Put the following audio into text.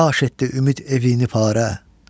Yaxş etdi ümid evini parə.